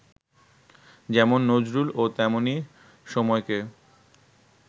যেমন নজরুলও তেমনি সময়কে